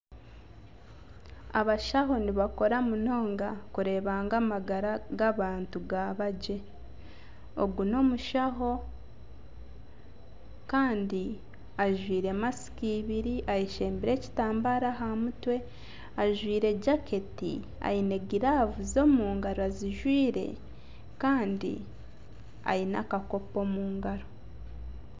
Abashaho nibakora munonga kureeba ngu amagara g'abantu gaba gye, ogu n'omushaho kandi ajwaire masiki ibiri ayeshembire ekitambara aha mutwe ajwaire jaketi aine giravuzi omu ngaro azijwaire kandi aine akakopo omu ngaro.